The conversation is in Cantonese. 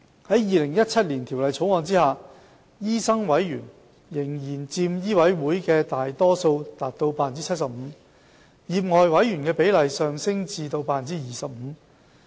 在《2017年條例草案》下，醫生委員仍然佔醫委會的大多數，達 75%； 業外委員的比例上升至 25%。